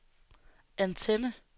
antenne